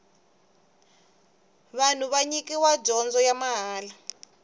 vanhu va nyikiwa dyondzo ya mahala